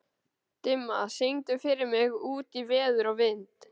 Dimma, syngdu fyrir mig „Út í veður og vind“.